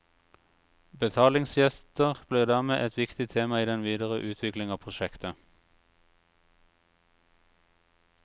Betalingstjenester blir dermed et viktig tema i den videre utvikling av prosjektet.